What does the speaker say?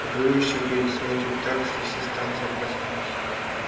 и выл ещё перед смертью так что вся станция проснулась